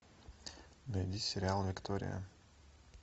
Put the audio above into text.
найди сериал виктория